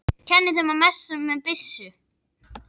Kenni þeim að messa með byssu?